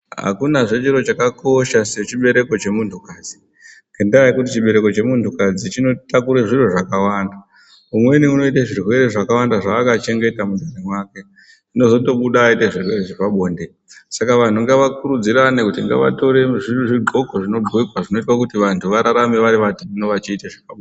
Akuna zve chiro chakakosha sechibereko chemuntu kadzi ngenda yekuti chibereko chemuntu kadzi chinotakura zviro zvakawanda umweni unoita zvirwere zvakawanda zvakachengeta mumwiri make zvinozobuda aita zvirwere zvepabonde Saka vantu ngavakurudzirane kuti ngavatore zvigonxo zvinogonxa Zvinoita kuti vantu vararame vatete vachiita zvepabonde.